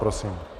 Prosím.